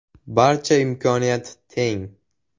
Barchada imkoniyat teng.